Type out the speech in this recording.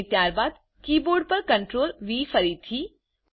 અને ત્યારબાદ કીબોર્ડ પર CTRLV ફરીથી